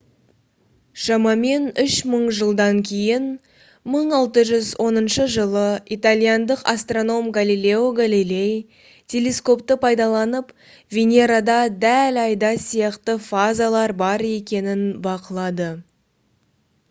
шамамен үш мың жылдан кейін 1610 жылы итальяндық астроном галилео галилей телескопты пайдаланып венерада дәл айда сияқты фазалар бар екенін бақылады